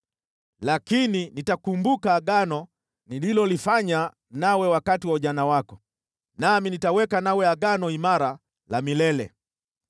Lakini nitakumbuka Agano nililolifanya nawe wakati wa ujana wako, nami nitaweka nawe Agano imara la milele.